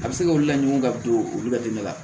A bɛ se k'olu laɲinin ka don olu bɛ dɛmɛ la